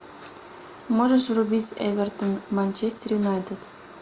можешь врубить эвертон манчестер юнайтед